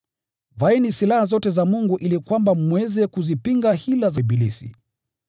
Vaeni silaha zote za Mungu ili kwamba mweze kuzipinga hila za ibilisi.